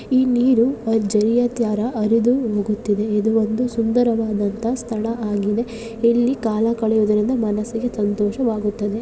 ಈ ನೀರು ಝರಿಯ ತ್ಯರ ಅರಿದು ಹೋಗುತ್ತಿದೆ ಇದು ಒಂದು ಸುಂದರವಾದಂತ ಸ್ಥಳ ಆಗಿದೆ ಇಲ್ಲಿ ಕಾಲ ಕಳೆಯುವುದರಿಂದ ಮನಸ್ಸಿಗೆ ಸಂತೋಷವಾಗುತ್ತದೆ.